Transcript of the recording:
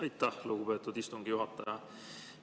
Aitäh, lugupeetud istungi juhataja!